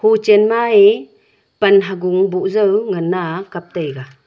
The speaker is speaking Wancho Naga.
huchen ma eh pan ha gung bhuh jao ngan aa kaptaiga.